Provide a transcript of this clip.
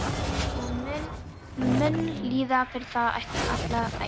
Og hann mun líða fyrir það alla ævi.